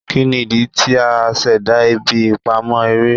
Kini idi ti a ṣẹda ibi ipamọ ere?